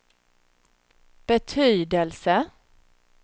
betydelse